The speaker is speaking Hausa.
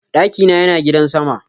Daki na Yana gidan sama.